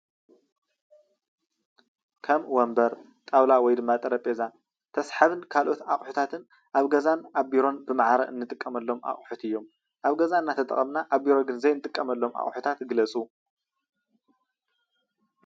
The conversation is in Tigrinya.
ካብ ወንበር ጣዉላ ወይ ድማ ጠረጴዛ ተስሓቢን ካልኦት አቑሒታትን አብ ገዛን ቢሮን ብመዓረ ንጥቀመሎም አቂሒት እዮም አብ ገዛ ናተጠቀምና አብ ቢሮ ዘይንጥቀመሎም አቁሕታት ግለፁ?